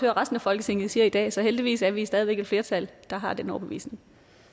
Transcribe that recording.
at resten af folketinget siger i dag så heldigvis er vi stadig væk et flertal der har den overbevisning